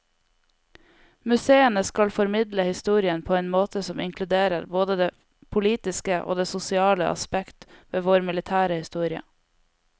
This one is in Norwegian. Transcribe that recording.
Museene skal formidle historien på en måte som inkluderer både det politiske og det sosiale aspekt ved vår militære historie.